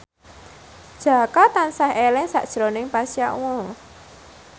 Jaka tansah eling sakjroning Pasha Ungu